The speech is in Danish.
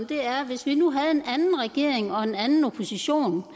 det er hvis vi nu havde en anden regering og en anden opposition